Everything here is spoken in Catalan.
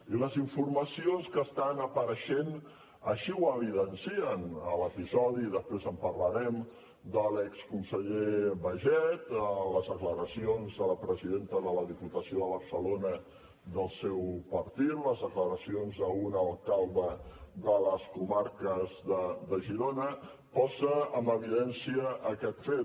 i les informacions que estan apareixent així ho evidencien l’episodi després en parlarem de l’exconseller baiget les declaracions de la presidenta de la diputació de barcelona del seu partit i les declaracions d’un alcalde de les comarques de girona posen en evidència aquest fet